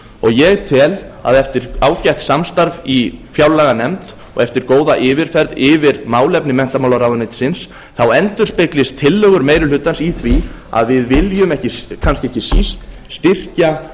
ég tel að eftir ágætt samstarf í fjárlaganefnd og eftir góða yfirferð yfir málefni menntamálaráðuneytisins endurspeglist tillögur meiri hlutans í því að við viljum kannski ekki síst styrkja